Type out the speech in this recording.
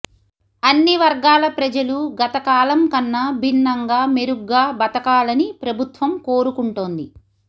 అన్ని వర్గాల ప్రజలు గత కాలం కన్నా భిన్నంగా మెరుగ్గా బతకాలని ప్రభుత్వం కోరుకుంటోంది